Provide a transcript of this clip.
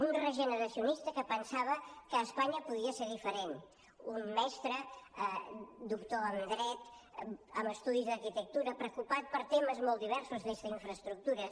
un regeneracionista que pensava que espanya podia ser diferent un mestre doctor en dret amb estudis d’arquitectura preocupat per temes molt diversos des d’infraestructures